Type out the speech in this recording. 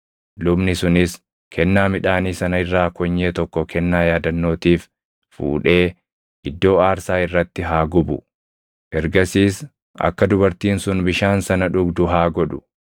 Lubni sunis kennaa midhaanii sana irraa konyee tokko kennaa yaadannootiif fuudhee iddoo aarsaa irratti haa gubu; ergasiis akka dubartiin sun bishaan sana dhugdu haa godhu.